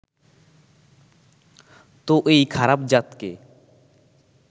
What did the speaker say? তো এই খারাপ-জাতকে